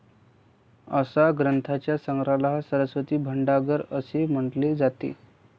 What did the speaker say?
अशा ग्रंथांच्या संग्रहाला सरस्वती भंडागर असे म्हणले जाते.